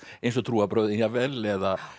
eins og trúarbrögðin jafnvel eða